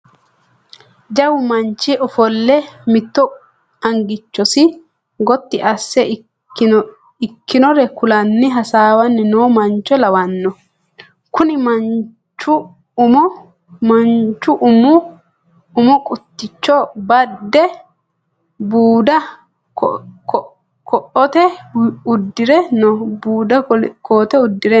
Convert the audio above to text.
Jawu manchi ofolle mitto angichosi gotti asse ikkinore kulanni hasaawanni noo mancho lawanno. Kuni manchu umo qutticho badde budda koote uddire no.